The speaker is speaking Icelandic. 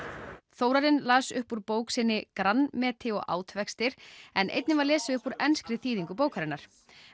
Þórarinn las upp úr bók sinni Grandmeti og ávextir en einnig var lesið upp úr enskri þýðingu bókarinnar